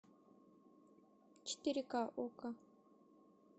четыре ка окко